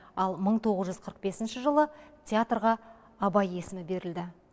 ал мың тоғыз жүз қырық бесінші жылы театрға абай есімі берілді